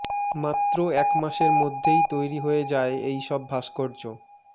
মাত্র এক মাসের মধ্যেই তৈরী হয়ে যায় এইসব ভাস্কর্য